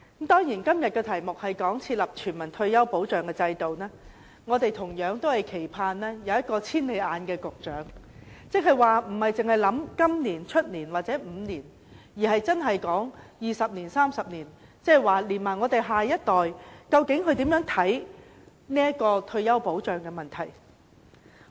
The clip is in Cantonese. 當然，在今天這項"設立全民退休保障制度"的議案上，我們同樣期盼有一位"千里眼"局長，即不單單考慮今年、明年或5年的情況，而是考慮20年、30年，也就是我們下一代對退休保障問題的看法。